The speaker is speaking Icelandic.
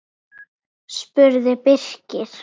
spurði Birkir.